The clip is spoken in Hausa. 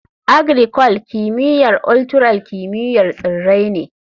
Agricul; kimiyyar ultural kimiyyar tsirrai ne.